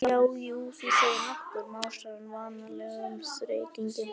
Já, jú, þú segir nokkuð, másar hann á vanalegum þeytingi.